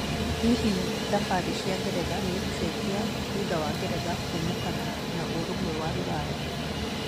Hihi thabarĩ cia ngeretha nĩigũcenjia thutha wa Ngeretha kuumũkana na ũrũmwe wa Rũraya?